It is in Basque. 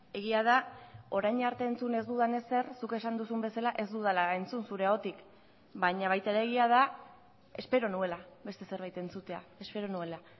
egia da orain arte entzun ez dudan ezer zuk esan duzun bezala ez dudala entzun zure ahotik baina baita ere egia da espero nuela beste zerbait entzutea espero nuela